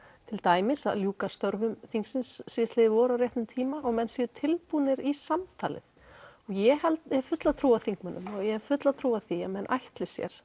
til dæmis að ljúka störfum þingsins síðastliðið vor á réttum tíma og menn séu tilbúnir í samtalið og ég hef fulla trú á þingmönnunum og ég hef fulla trú á því að menn ætli sér